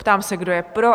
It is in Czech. Ptám se, kdo je pro?